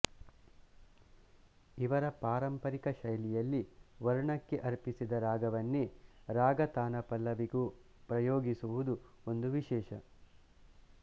ಇವರ ಪಾರಂಪರಿಕ ಶೈಲಿಯಲ್ಲಿ ವರ್ಣಕ್ಕೆ ಅರ್ಪಿಸಿದ ರಾಗವನ್ನೆ ರಾಗ ತಾನ ಪಲ್ಲವಿಗೂ ಪ್ರಯೊಗಿಸುವುದು ಒಂದು ವಿಶೇಷ